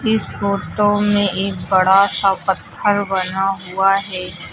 इस फोटो में एक बड़ा सा पत्थर बना हुआ है।